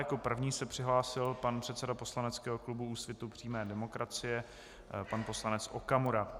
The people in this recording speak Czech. Jako první se přihlásil pan předseda poslaneckého klubu Úsvitu přímé demokracie, pan poslanec Okamura.